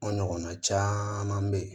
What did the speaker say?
N'a ɲɔgɔnna caman be yen